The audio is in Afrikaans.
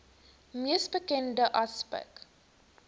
mees bekende aspek